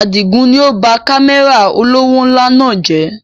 Àdigun ni ó ba Kámẹ́rà olówó ńlá náà jẹ̀